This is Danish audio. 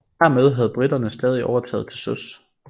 Hermed havde briterne stadig overtaget til søs